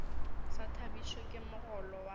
sa thabišwe ke mogolo wa